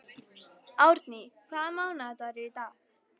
Árný, hvaða mánaðardagur er í dag?